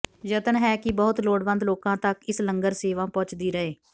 ਯਤਨ ਹੈ ਕਿ ਬਹੁਤ ਲੋੜਵੰਦ ਲੋਕਾਂ ਤੱਕ ਇਸ ਲੰਗਰ ਸੇਵਾ ਪਹੁੰਚਦੀ ਰਹੇ